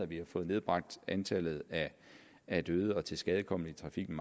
vi har fået nedbragt antallet af døde og tilskadekomne i trafikken